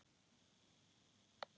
En bíðum við.